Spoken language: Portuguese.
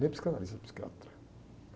Nem psicanalista, era psiquiatra.